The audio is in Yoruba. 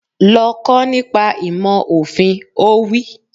Lọ kọ́ nípa ìmọ̀ òfin! Ó wí